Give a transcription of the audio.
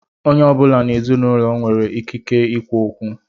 Onye ọ bụla n'ezinaụlọ m nwere ikike ikwu okwu.